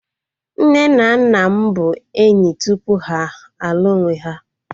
Nne na nna m bụ enyi tupu ha a lụọ onwe ha